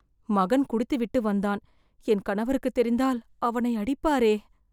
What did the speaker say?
மகன் குடித்துவிட்டு வந்தான், என் கணவருக்குத் தெரிந்தால் அவனை அடிப்பாரே